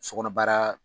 Sokɔnɔ baara